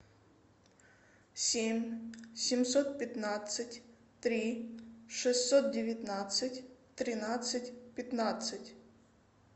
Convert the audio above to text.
семь семьсот пятнадцать три шестьсот девятнадцать тринадцать пятнадцать